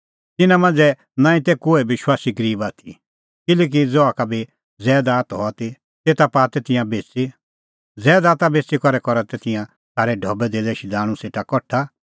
तिन्नां मांझ़ै नांईं तै कोहै विश्वासी गरीब आथी किल्हैकि ज़हा का बी ज़ैदात हआ ती तेता पाआ तै तिंयां बेच़ी ज़ैदात बेच़ी करै करा तै तिंयां सारै ढबैधेल्लै शधाणूं सेटा कठा